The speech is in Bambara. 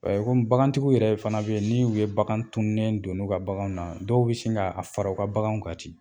Komi bagan tigiw yɛrɛ fana bɛ ye ni u ye bagan tununen don n'u ka baganw na dɔw bɛ sin ka fara u ka baganw kan ten.